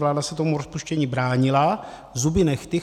Vláda se tomu rozpuštění bránila zuby nehty.